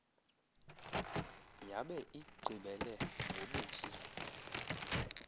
yabe igqibele ngobusi